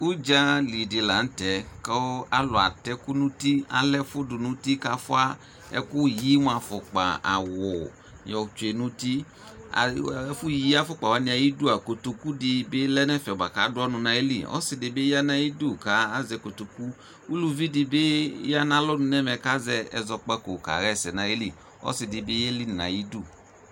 Udzali dɩ la n'tɛ kʋ alʋ atɛ ɛkʋ n'uti, alɛfʋ dʋ n'uti k'afua ɛkʋyi mʋa afʋkpa, awʋ yɔtsue n'uti Ɛfʋ yi afʋkpa wanɩ ayidu aa kotoku dɩ bɩ lɛ n'ɛfɛ bʋa k'adʋ ɔnʋ n'ayili Osɩ dɩ bɩ ya n'ayidu kazɛ kotoku Uluvidɩ bɩ ya n'alɔnu n'ɛmɛ kazɛ ɛzɔkpako kaɣɛsɛ n'ayili Ɔsɩdɩ bɩ yeli n'ayiidu